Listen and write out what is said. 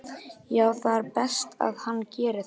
Já það er best að hann geri það.